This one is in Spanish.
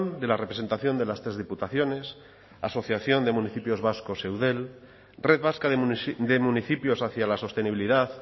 de la representación de las tres diputaciones asociación de municipios vascos eudel red vasca de municipios hacia la sostenibilidad